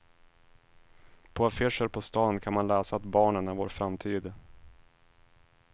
På affischer på stan kan man läsa att barnen är vår framtid.